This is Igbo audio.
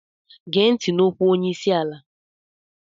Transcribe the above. Gee ntị n'okwu onye isi ala!